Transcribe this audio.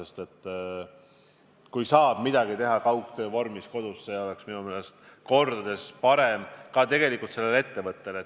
sest kui midagi saab teha kaugtöö vormis kodus, on see minu meelest kordades parem ka sellele ettevõttele endale.